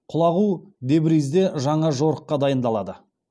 құлағу тебризде жаңа жорыққа дайындалады